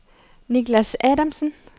Niklas Adamsen